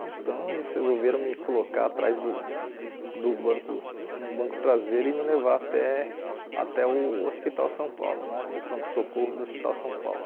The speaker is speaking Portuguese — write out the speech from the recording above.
Então eles resolveram me colocar atrás do do banco, no banco traseiro e me levar até até o hospital São Paulo né, o pronto-socorro do hospital São Paulo.